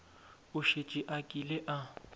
o šetše a kile a